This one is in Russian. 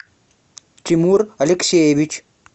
тимур алексеевич